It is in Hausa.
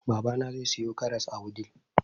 babana zai siyo karas a wudil